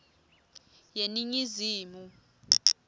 yeningizimu